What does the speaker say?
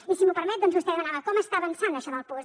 i si m’ho permet doncs vostè demanava com està avançant això del puosc